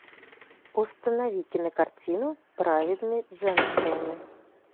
установи кинокартину праведные джемстоуны